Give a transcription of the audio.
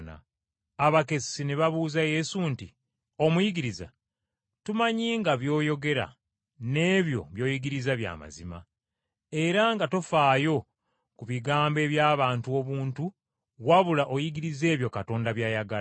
Abakessi ne babuuza Yesu nti, “Omuyigiriza, tumanyi nga By’oyogera n’ebyo by’oyigiriza bya mazima, era nga tofaayo ku bigambo eby’abantu obuntu wabula oyigiriza ebyo Katonda by’ayagala.